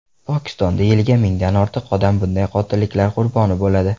Pokistonda yiliga mingdan ortiq odam bunday qotilliklar qurboni bo‘ladi.